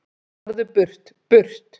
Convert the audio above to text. Farðu burt, BURT!